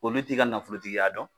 Olu t'i ka nafolotigiya dɔn,